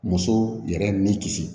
Muso yɛrɛ ni kisi